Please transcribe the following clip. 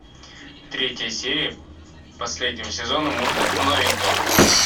третья серия последнего сезона мульта новенького